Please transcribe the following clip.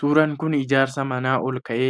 Suuraan kun ijaarsa manaa ol-ka’ee,